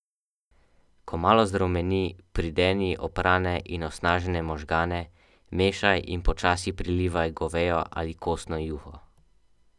Ko malo zarumeni, prideni oprane in osnažene možgane, mešaj in počasi prilivaj govejo ali kostno juho.